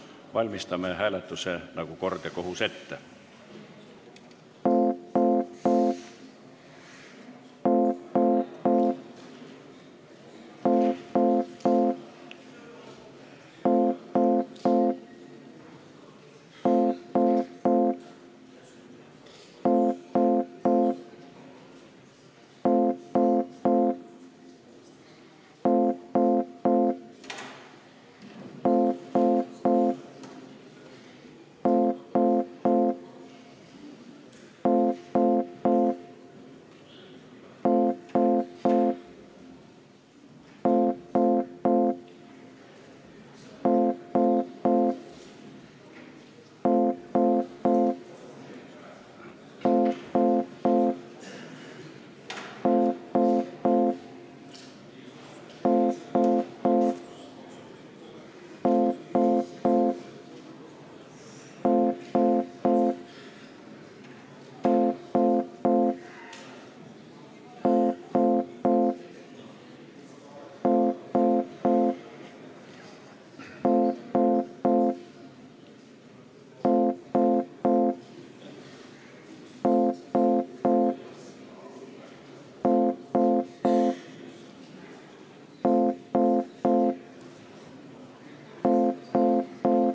Valmistame hääletuse nagu kord ja kohus ette.